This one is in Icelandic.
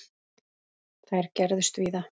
Þær gerðust víða.